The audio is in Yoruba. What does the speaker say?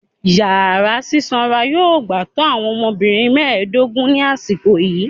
Yara sisanra yoo gba to awọn ọmọbirin mẹdogun ni asiko yii